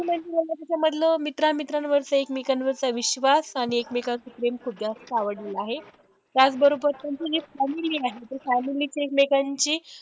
समजलं तर मित्रा मित्रांवरचं ऐकमेकांवरचा विश्वास आणि ऐकमेकांचं प्रेम खूप जास्त आवडलेलं आहे, त्याचबरोबर family आहे, ते family च ऐकमेकांची